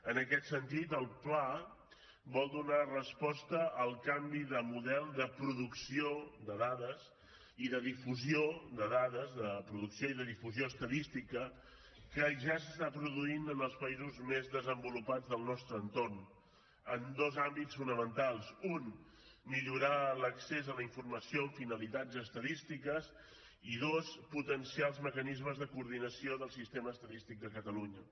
en aquest sentit el pla vol donar resposta al canvi de model de producció de dades i de difusió de dades de producció i de difusió estadística que ja s’està produint en els països més desenvolupats del nostre entorn en dos àmbits fonamentals un millorar l’accés a la informació amb finalitats estadístiques i dos potenciar els mecanismes de coordinació del sistema estadístic de catalunya